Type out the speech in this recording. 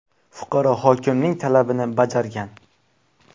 Fuqaro hokimning talabini bajargan.